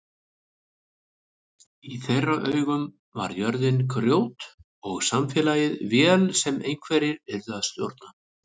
Í þeirra augum var jörðin grjót og samfélagið vél sem einhverjir yrðu að stjórna.